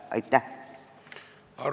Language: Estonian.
Aitäh!